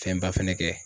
Fɛnba fana kɛ